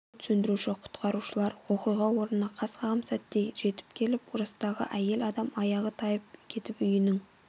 өрт сөндіруші-құтқарушылар оқиға орнына қас қағым сәтте жетіп келіп жастағы әйел адам аяғы тайып кетіп үйінің